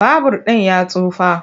Babur ɗin ya tsufa.